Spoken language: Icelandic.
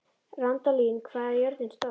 Randalín, hvað er jörðin stór?